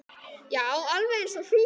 Já, alveg eins og hrútur.